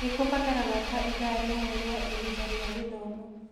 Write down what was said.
Nĩ kũbataraga ta ithaa rĩmwe rĩa ihinda rĩa gĩthomo.